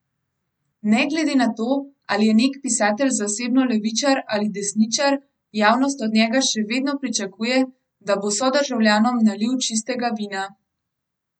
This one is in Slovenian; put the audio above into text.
Ne glede na to, ali je nek pisatelj zasebno levičar ali desničar, javnost od njega še vedno pričakuje, da bo sodržavljanom nalil čistega vina.